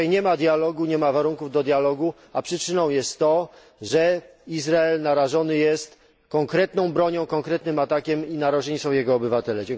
Dzisiaj nie ma dialogu, nie ma warunków do dialogu, a przyczyną jest to, że Izrael narażony jest konkretną bronią i konkretnym atakiem i narażeni są jego obywatele.